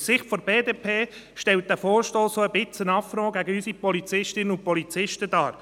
Aus Sicht der BDP stellt dieser Vorstoss auch ein wenig einen Affront gegen unsere Polizistinnen und Polizisten dar.